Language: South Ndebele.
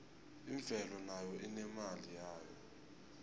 imvelo nayo inemali yayo